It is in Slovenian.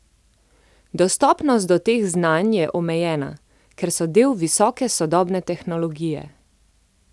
Dostopnost do teh znanj je omejena, ker so del visoke sodobne tehnologije.